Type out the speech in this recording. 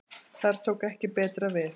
Þar tók ekki betra við.